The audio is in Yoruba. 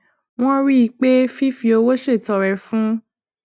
wón rí i pé fífi owó ṣètọrẹ fún